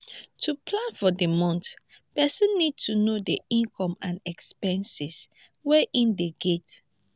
to plan for di month person need to know di income and expenses wey im dey get